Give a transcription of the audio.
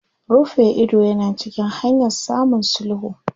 Rufe ido yana cikin hanyan samun sulhu.